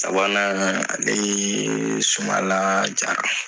Sabanan ale ye Sumala Jara.